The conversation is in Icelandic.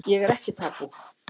Ég er ekki tabú